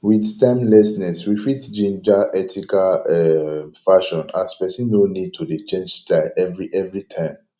with timelessness we fit ginger ethical um fashion as person no need to dey change style every every time